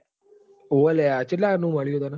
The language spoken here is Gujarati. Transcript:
ઓવ લાયા ચતલા mb નું મલુ હ તન